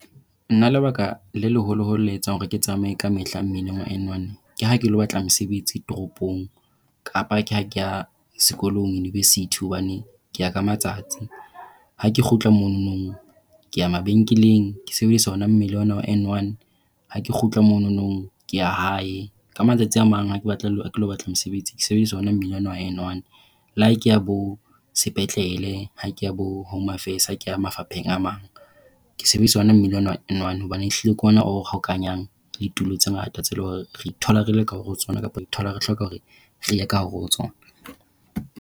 Nna lebaka le leholo le etsang hore ke tsamaye ka mehla mmileng wa N1 ke ha ke ilo batla mosebetsi toropong kapa ke ha ke ya sekolong university, hobane ke ya ka matsatsi. Ha ke kgutla mono ke ya mabenkeleng ke sebedisa ona mmila ona wa N1. Ha ke kgutla mono ke ya hae, ka matsatsi a mang ha ke ilo batle batla mosebetsi ke sebedisa ona mmila ona wa N1. Le ha ke ya bosepetlele, ha ke ya bo-home affairs, ha ke ya mafapheng a mang ke sebedisa ona mmila ona hobane ehlile ke ona o hokahanyang ditulo tse ngata tse leng hore re ithola re le ka hare ho tsona kapa re thola re hloka hore re ye ka hare ho tsona.